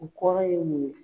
U kɔrɔ ye mun ye ?